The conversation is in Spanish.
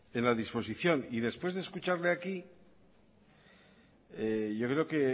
en la disposición y después de escucharle aquí yo creo que